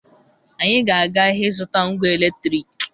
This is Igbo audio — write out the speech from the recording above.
Anyị ga-aga ahịa ịzụta ngwa eletriki